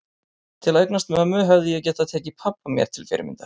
Til að eignast mömmu hefði ég getað tekið pabba mér til fyrirmyndar.